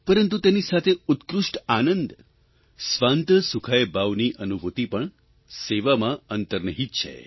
પરંતુ તેની સાથે ઉત્કૃષ્ટ આનંદ સ્વાન્તઃ સુખાય ભાવની અનુભૂતિ પણ સેવામાં અંતર્નિહિત છે